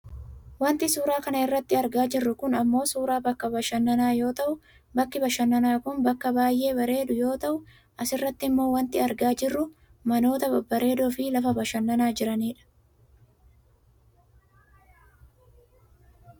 Wanti suuraa kana irratti argaa jirru kun ammoo suuraa bakka bashananaa yoo ta'u, bakki bashannanaa kun bakka baayyee bareedu yoo ta'u, asirrattimmoo wanti argaa jirru manoota babbareedoo lafa bashananaa jiranidha.